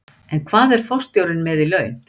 En hvað er forstjórinn með í laun?